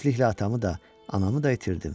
Tezliklə atamı da, anamı da itirdim.